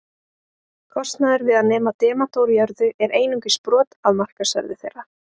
Kostnaður við að nema demanta úr jörðu er einungis brot af markaðsverði þeirra.